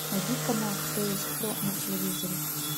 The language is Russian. найди канал кто есть кто на телевизоре